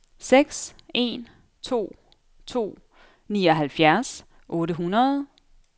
seks en to to nioghalvfjerds otte hundrede